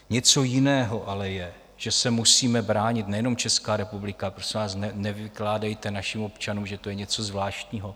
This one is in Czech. Něco jiného ale je, že se musíme bránit, nejenom Česká republika - prosím vás, nevykládejte našim občanům, že to je něco zvláštního.